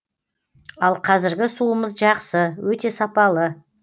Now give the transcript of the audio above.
ал қазіргі суымыз жақсы өте сапалы